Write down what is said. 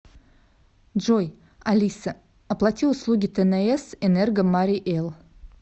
джой алиса оплати услуги тнс энерго марий эл